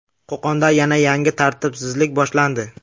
Qo‘qonda yana yangi tartibsizlik boshlandi.